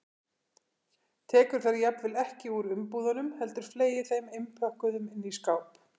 Tekur þær jafnvel ekki úr umbúðunum heldur fleygir þeim innpökkuðum inn í skáp.